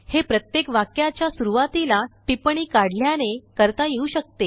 हे प्रत्येक वाक्याच्या सुरुवातीला टिप्पणी काढल्याने करता येऊ शकते